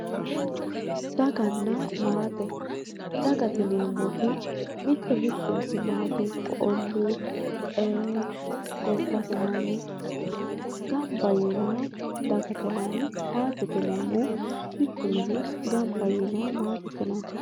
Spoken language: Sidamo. daganna maate dagate yineemmoti mitte mittenti maate ikko olluu gobbate manni gamba yiinoha dagate yinanni maatete yineemmohu mittu mini gamba yiinoha maatete yinanni